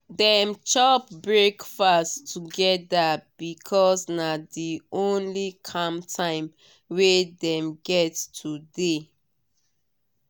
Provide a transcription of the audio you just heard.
dem chop breakfast together because na the only calm time wey dem get today.